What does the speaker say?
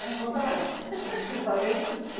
Acho que, acho que eu falei para a chuchu.